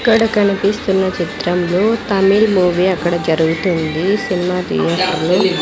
ఇక్కడ కనిపిస్తున్న చిత్రంలో తమిళ్ మూవీ అక్కడ జరుగుతుంది సినిమా థియేటర్ లో .